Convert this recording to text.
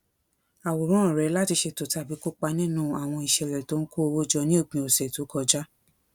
àwòrán rẹ láti ṣètò tàbí kó kópa nínú àwọn ìṣẹlẹ tó ń kó owó jọ ní òpin ọsẹ tó kọjá